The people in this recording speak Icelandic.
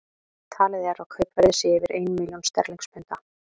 Talið er að kaupverðið sé yfir ein milljón sterlingspunda.